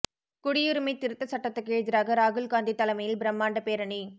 குடியுரிமை திருத்த சட்டத்துக்கு எதிராக ராகுல் காந்தி தலைமையில் பிரமாண்ட பேரணி